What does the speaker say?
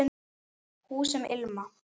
Hús sem ilma